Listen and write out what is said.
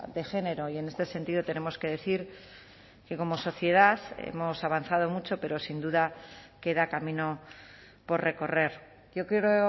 de género y en este sentido tenemos que decir que como sociedad hemos avanzado mucho pero sin duda queda camino por recorrer yo quiero